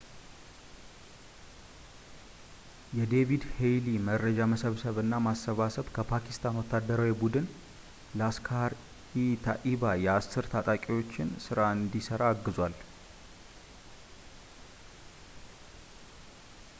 የዴቪድ ሄድሊ መረጃ መሰብሰብ እና ማሰባሰብ ከፓኪስታን ወታደራዊ ቡድን ላስክሃር-ኢ-ታኢባ የ10 ታጣቂዎችን ሥራ እንዲሠራ አግዟል